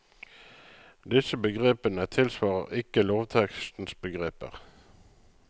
Disse begrepene tilsvarer ikke lovtekstens begreper.